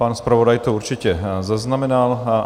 Pan zpravodaj to určitě zaznamenal.